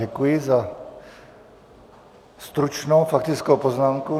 Děkuji za stručnou faktickou poznámku.